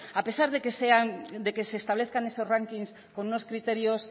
a pesar de que se establezcan esos rankings con unos criterios